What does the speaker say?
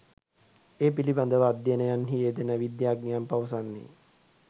ඒ පිළිබඳව අධ්‍යයනයන්හි යෙදෙන විද්‍යාඥයින් පවසන්නේ